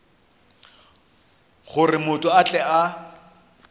gore motho a tle a